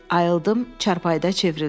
Ayıldım, çarpayıda çevrildim.